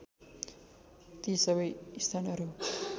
ती सबै स्थानहरू